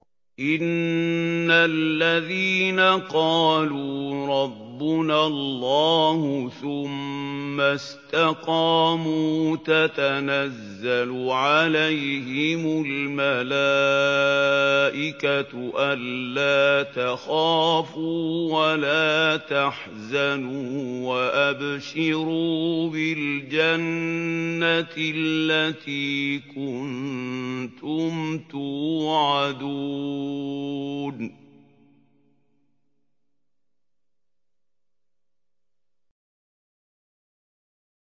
إِنَّ الَّذِينَ قَالُوا رَبُّنَا اللَّهُ ثُمَّ اسْتَقَامُوا تَتَنَزَّلُ عَلَيْهِمُ الْمَلَائِكَةُ أَلَّا تَخَافُوا وَلَا تَحْزَنُوا وَأَبْشِرُوا بِالْجَنَّةِ الَّتِي كُنتُمْ تُوعَدُونَ